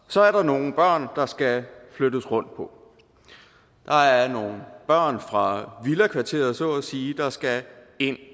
så er der nogle børn der skal flyttes rundt på der er nogle børn fra villakvarterer så at sige der skal ind